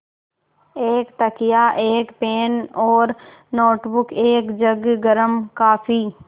एक तकिया एक पेन और नोटबुक एक जग गर्म काफ़ी